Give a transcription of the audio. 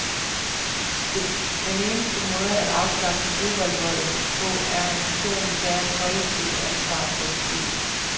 Den eneste måde at afskaffe fodboldvolden på, er at nationen tager et kollektivt ansvar for det skete.